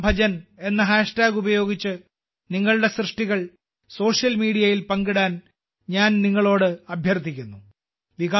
ശ്രീറാം ഭജൻ എന്ന ഹാഷ്ടാഗ് ഉപയോഗിച്ച് നിങ്ങളുടെ സൃഷ്ടികൾ സോഷ്യൽ മീഡിയയിൽ പങ്കിടാൻ ഞാൻ നിങ്ങളോട് അഭ്യർത്ഥിക്കുന്നു